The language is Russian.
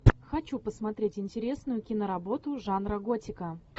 хочу посмотреть интересную киноработу жанра готика